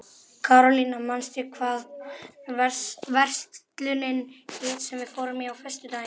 Karólína, manstu hvað verslunin hét sem við fórum í á föstudaginn?